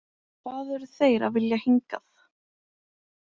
Hvað eru þeir að vilja hingað?